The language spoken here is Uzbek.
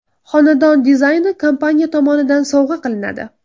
Xonadon dizayni kompaniya tomonidan sovg‘a qilinadi.